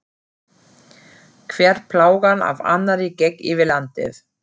Hver plágan af annarri gekk yfir landið.